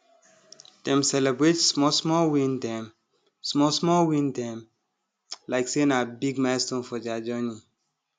dem celebrate smallsmall win dem smallsmall win dem like say na big milestone for their journey